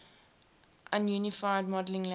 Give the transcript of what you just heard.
unified modeling language